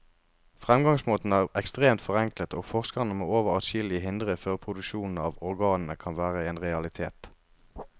Fremgangsmåten er ekstremt forenklet, og forskerne må over adskillige hindre før produksjon av organene kan være en realitet.